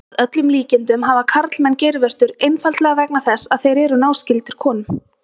Að öllum líkindum hafa karlmenn geirvörtur einfaldlega vegna þess að þeir eru náskyldir konum.